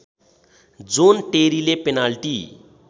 John टेरीले penalty